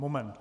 Moment.